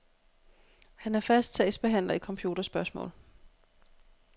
Han er fast sagsbehandler i computerspørgsmål.